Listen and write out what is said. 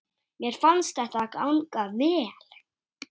Mér fannst þetta ganga vel.